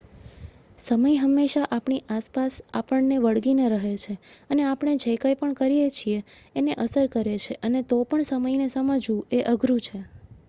સમય હંમેશા આપણી આસપાસ આપણને વળગીને રહે છે અને આપણે જે કઈ પણ કરીએ એને અસર કરે છે અને તો પણ સમયને સમજવું એ અઘરું છે